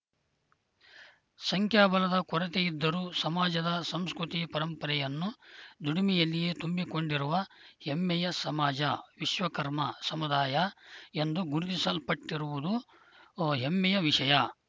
ಸಂಖ್ಯಾಬಲದ ಕೊರತೆಯಿದ್ದರೂ ಸಮಾಜದ ಸಂಸ್ಕೃತಿ ಪರಂಪರೆಯನ್ನು ದುಡಿಮೆಯಲ್ಲಿಯೇ ತುಂಬಿಕೊಂಡಿರುವ ಹೆಮ್ಮೆಯ ಸಮಾಜ ವಿಶ್ವಕರ್ಮ ಸಮುದಾಯ ಎಂದು ಗುರುತಿಸಲ್ಪಟಿರುವುದು ಹೆಮ್ಮೆಯ ವಿಷಯ